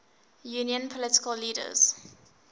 union political leaders